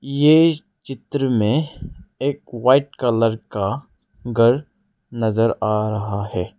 ये चित्र में एक वाइट कलर का घर नजर आ रहा है।